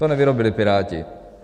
To nevyrobili Piráti.